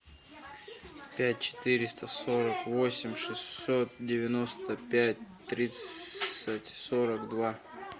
пять четыреста сорок восемь шестьсот девяносто пять тридцать сорок два